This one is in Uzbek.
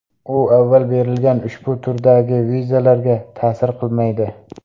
U avval berilgan ushbu turdagi vizalarga ta’sir qilmaydi.